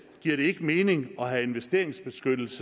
giver det ikke mening at have investeringsbeskyttelse